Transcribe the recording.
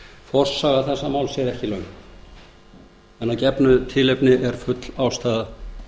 forsaga þessa máls er ekki löng en að gefnu tilefni er full ástæða